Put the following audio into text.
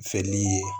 Fɛli ye